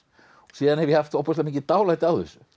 síðan hef ég haft ofboðslega mikið dálæti á þessu